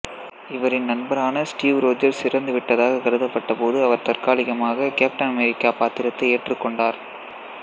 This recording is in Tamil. இவரின் நண்பரான இசுடீவ் ரோஜர்சு இறந்துவிட்டதாகக் கருதப்பட்டபோது அவர் தற்காலிகமாக கேப்டன் அமெரிக்கா பாத்திரத்தை ஏற்றுக்கொண்டார்